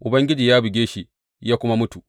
Ubangiji ya buge shi ya kuma mutu.